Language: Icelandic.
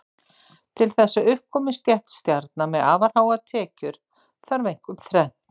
Til þess að upp komi stétt stjarna með afar háar tekjur þarf einkum þrennt.